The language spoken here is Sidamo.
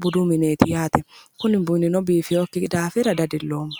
giddoti kunino biifinokki gede lae dadiloomma".